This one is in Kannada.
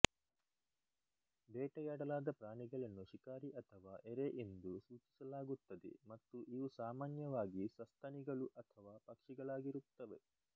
ಬೇಟೆಯಾಡಲಾದ ಪ್ರಾಣಿಗಳನ್ನು ಶಿಕಾರಿ ಅಥವಾ ಎರೆ ಎಂದು ಸೂಚಿಸಲಾಗುತ್ತದೆ ಮತ್ತು ಇವು ಸಾಮಾನ್ಯವಾಗಿ ಸಸ್ತನಿಗಳು ಅಥವಾ ಪಕ್ಷಿಗಳಾಗಿರುತ್ತವೆ